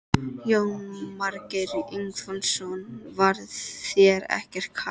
Jónas Margeir Ingólfsson: Var þér ekkert kalt?